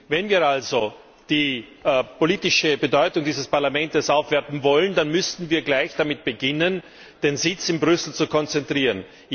Wenn wir also die politische Bedeutung dieses Parlaments aufwerten wollen, dann müssten wir gleich damit beginnen, den Sitz in Brüssel zu konzentrieren.